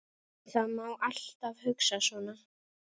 Það má alltaf hugsa svona.